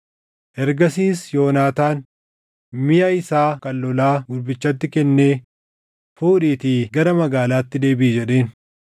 Ergasiis Yoonaataan miʼa isaa kan lolaa gurbichatti kennee, “Fuudhiitii gara magaalaatti deebiʼi” jedheen.